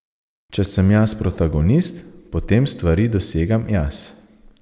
Če sem jaz protagonist, potem stvari dosegam jaz.